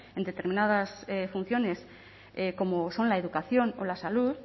en determinadas funciones como son la educación o la salud